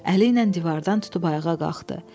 Əli ilə divardan tutub ayağa qalxdı.